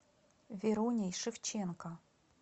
веруней шевченко